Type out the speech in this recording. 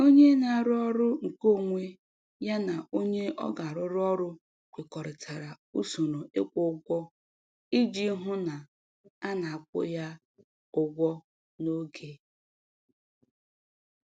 Onye na-arụ ọrụ nke onwe ya na onye ọ ga-arụrụ ọrụ kwekọrịta usoro ịkwụ ụgwọ iji hụ na a na-akwụ ya ụgwọ n’oge.